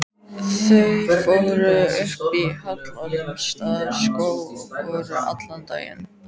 Þau fóru upp í Hallormsstaðarskóg og voru allan daginn.